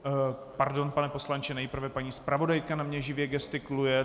Pardon, pane poslanče, nejprve paní zpravodajka na mě živě gestikuluje.